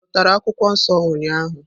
Ị zụtara akwukwuo nso ụnyahụ?